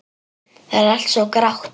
Það er allt svo grátt.